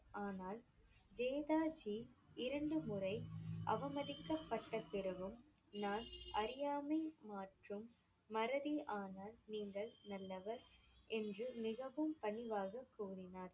ஆனால் வேதாஜி இரண்டு முறை அவமதிக்கப்பட்ட பிறகும் நான் அறியாமை மாற்றும் மறதி ஆனால் நீங்கள் நல்லவர் என்று மிகவும் பணிவாகக் கூறினார்.